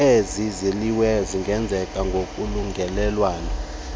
eziyiliweyo zingenzeka ngokolungelelwano